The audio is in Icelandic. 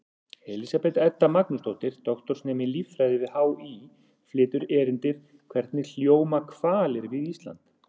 Elísabet Edda Magnúsdóttir, doktorsnemi í líffræði við HÍ, flytur erindið: Hvernig hljóma hvalir við Ísland?